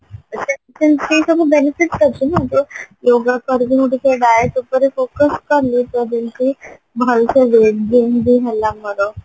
ସେଥିପାଇଁ ସେଇ ସବୁ benefit ଅଛି ନାଁ ଯୋଉ yoga କରିକି ମୁଁ ଟିକେ ଉପରେ focus କଲି ତ ଯେମତି ଭଲସେ ହେଲା ମୋର